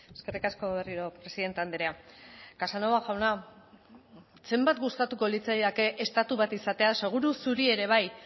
eskerrik asko berriro presidente andrea casanova jauna zenbat gustatuko litzaidake estatu bat izatea seguru zuri ere bai